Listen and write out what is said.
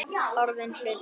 Orðinn hlutur.